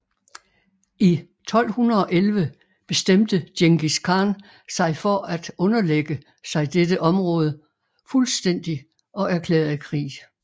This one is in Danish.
I 1211 bestemte Djengis Khan sig for at underlægge sig dette området fuldstændig og erklærede krig